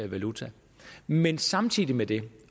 valuta men samtidig med det